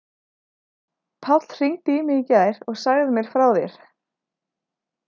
Páll hringdi í mig í gær og sagði mér frá þér.